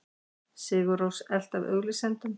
Sigur Rós elt af auglýsendum